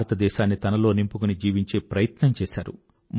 భారతదేశాన్ని తనలో నింపుకుని జీవించే ప్రయత్నం చేసారు